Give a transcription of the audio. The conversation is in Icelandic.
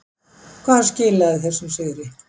Hvað skilaði þessum sigri?